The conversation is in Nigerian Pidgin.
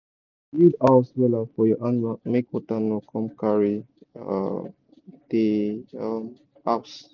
um build house wella for your animal make water no come carry um de um house